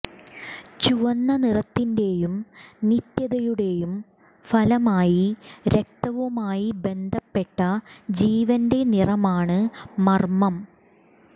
ചുവന്ന നിറത്തിന്റെയും നിത്യതയുടെയും ഫലമായി രക്തവുമായി ബന്ധപ്പെട്ട ജീവന്റെ നിറമാണ് മർമ്മം